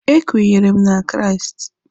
E kwenyere m na Kraịst.